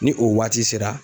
Ni o waati sera